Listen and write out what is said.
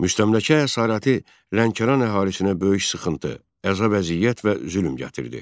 Müstəmləkə əsarəti Lənkəran əhalisinə böyük sıxıntı, əza vəziyyət və zülm gətirdi.